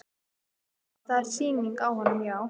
Það er sýning á honum, já.